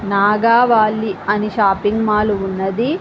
నాగావాళ్ళి అని shopping mall ఉన్నది.